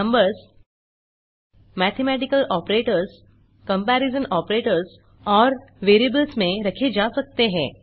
numbers mathematical operators comparison operators और variables में रखे जा सकते हैं